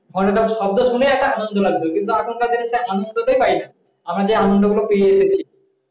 ঘন্টা শব্দ শুনে একটা আনন্দ লাগতো কিন্তু এখনকার দিনের সে আনন্দটাই পাইনা আমরা যে আনন্দগুলো পেয়ে এসেছি